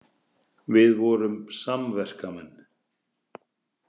Við vorum samverkamenn.